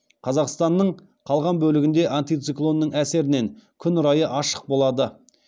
қазақстанның қалған бөлігінде антициклонның әсерінен күн райы ашық болады